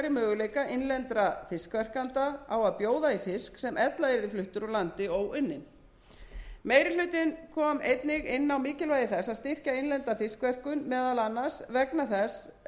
möguleika innlendra fiskverkenda á að bjóða í fisk sem ella yrði fluttur úr landi óunninn meiri hlutinn kom einnig inn á mikilvægi þess að styrkja innlenda fiskverkun meðal annars vegna þess fjölda starfa sem þar getur skapast og skiptir